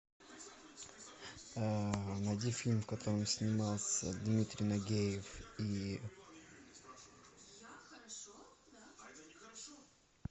найди фильм в котором снимался дмитрий нагиев и